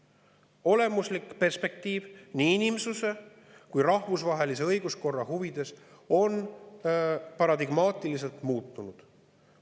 Olemuslik perspektiiv, nii inimsuse kui ka rahvusvahelise õiguskorra mõttes, on paradigmaatiliselt muutunud.